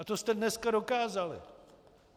A to jste dneska dokázali.